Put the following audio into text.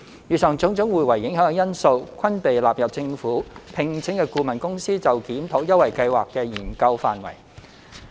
以上種種互為影響的因素，均被納入政府聘請的顧問公司就檢討優惠計劃的研究範圍。